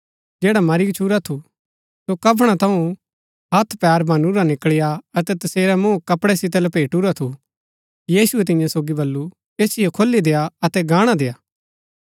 जैडा मरी गच्छुरा थू सो कफणा थऊँ हथ पैर बनुरा निकळी आ अतै तसेरा मुँह कपड़ै सितै लपेटुरा थू यीशुऐ तियां सोगी बल्लू ऐसिओ खोली देय्आ अतै गाणा देय्आ